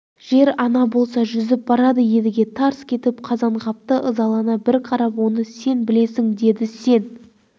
жер-ана болса жүзіп барады едіге тарс кетіп қазанғапқа ызалана бір қарап оны сен білесің деді сен